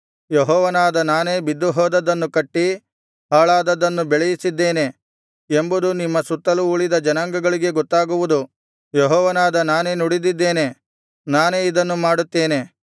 ಯೆಹೋವನಾದ ನಾನೇ ಬಿದ್ದುಹೋದದ್ದನ್ನು ಕಟ್ಟಿ ಹಾಳಾದದ್ದನ್ನು ಬೆಳೆಯಿಸಿದ್ದೇನೆ ಎಂಬುದು ನಿಮ್ಮ ಸುತ್ತಲು ಉಳಿದ ಜನಾಂಗಗಳಿಗೆ ಗೊತ್ತಾಗುವುದು ಯೆಹೋವನಾದ ನಾನೇ ನುಡಿದಿದ್ದೇನೆ ನಾನೇ ಇದನ್ನು ಮಾಡುತ್ತೇನೆ